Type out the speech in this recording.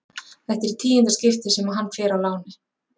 Þetta er í tíunda skipti sem hann fer á láni.